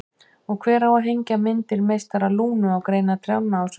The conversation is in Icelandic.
Og hver á að hengja myndir meistara Lúnu á greinar trjánna á sumrin?